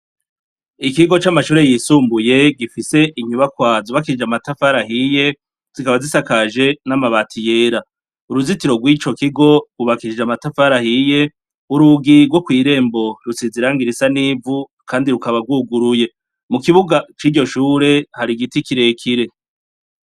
Ikigo camashure yisumbuye gifise inyubakwa zamatafari ahiye zikaba zisakajwe namabati yera uruzitiro ryico kiko cubakishijwe amatafari ahiye urugi go kwirembo rusize irangi risa nivu kandi rukaba ryuguruye mukibuga ciryo shure hari igiti kirekire